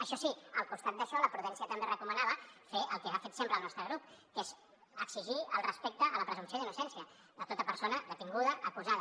això sí al costat d’això la prudència també recomanava fer el que ha fet sempre el nostre grup que és exigir el respecte a la presumpció d’innocència de tota persona detinguda acusada